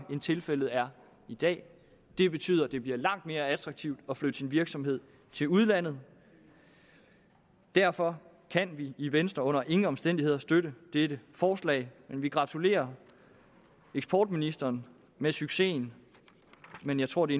end tilfældet er i dag det betyder at det bliver langt mere attraktivt at flytte sin virksomhed til udlandet derfor kan vi i venstre under ingen omstændigheder støtte dette forslag vi gratulerer eksportministeren med succesen men jeg tror det